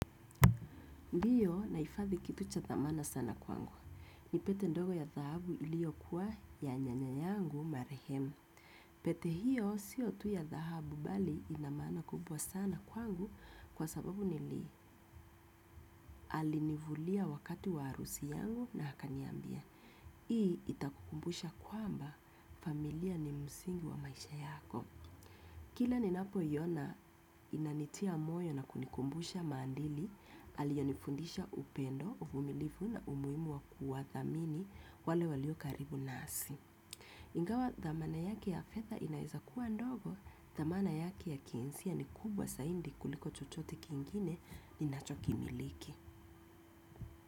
Ndiyo naifathi kitu cha thamana sana kwangu. Ni pete ndogo ya thahabu iliyo kuwa ya nyanyanyangu marihem. Pete hiyo si otu ya thahabu bali inamana kubwa sana kwangu kwa sababu nili alinivulia wakati warusi yangu na hakanyambia. Hii itakukumbusha kwamba familia ni musingi wa maisha yako. Kila ni napo yona inanitia moyo na kunikumbusha mandili, alionifundisha upendo, umilifu na umuimu wakua thamini wale walio karibu nasi. Ingawa dhamana yake ya fedha inaeza kuwa ndogo, dhamana yake ya kihisia ni kubwa zaidi kuliko chochote kingine ninachokimiliki.